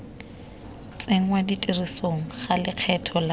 tsenngwa tirisong ga lekgetho la